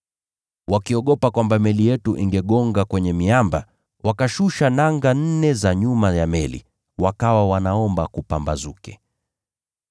Wakiogopa kwamba meli yetu ingegonga kwenye miamba, wakashusha nanga nne za nyuma ya meli, wakawa wanaomba kupambazuke.